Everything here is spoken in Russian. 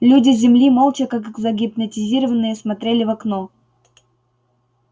люди с земли молча как загипнотизированные смотрели в окно